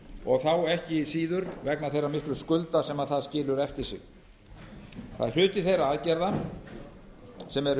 og þá ekki síður vegna þeirra miklu skulda sem það skilur eftir sig það er hluti þeirra aðgerða sem byggðar